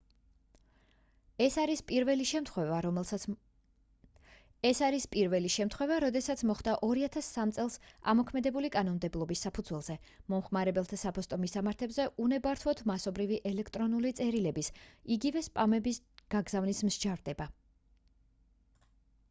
ეს არის პირველი შემთხვევა როდესაც მოხდა 2003 წელს ამოქმედებული კანონმდებლობის საფუძველზე მომხმარებელთა საფოსტო მისამართებზე უნებართვოდ მასობრივი ელექტრონული წერილების იგივე სპამების გაგზავნისთვის მსჯავრდება